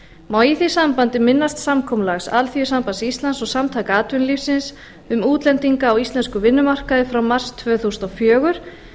má í því sambandi minnast samkomulags alþýðusambands íslands og samtaka atvinnulífsins um útlendinga á íslenskum vinnumarkaði frá mars tvö þúsund og fjögur